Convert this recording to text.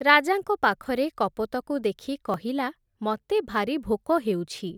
ରାଜାଙ୍କ ପାଖରେ କପୋତକୁ ଦେଖି କହିଲା, ମତେ ଭାରି ଭୋକ ହେଉଛି ।